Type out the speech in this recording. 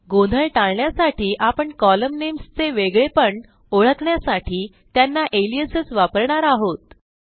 गोंधळ टाळण्यासाठी आपण कोलम्न namesचे वेगळेपण ओळखण्यासाठी त्यांना अलियासेस वापरणार आहोत